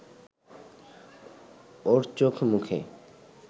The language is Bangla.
ওর চোখ-মুখে